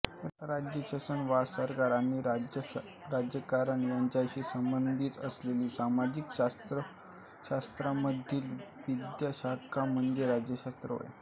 राज्य शासन वा सरकार आणि राजकारण यांच्याशी संबंधित असलेली सामाजिक शास्त्रांमधील विद्याशाखा म्हणजे राज्यशास्त्र होय